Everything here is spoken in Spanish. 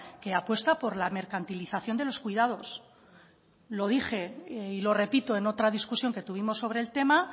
que apuesta por la mercantilización de los cuidados lo dije y lo repito en otra discusión que tuvimos sobre el tema